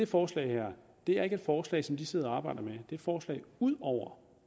forslaget her er ikke et forslag som de sidder og arbejder med det et forslag ud over